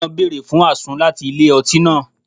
Ọkùnrin náà fún àsun láti ilé-ọtí náà